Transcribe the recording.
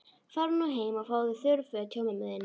Farðu nú heim og fáðu þurr föt hjá mömmu þinni.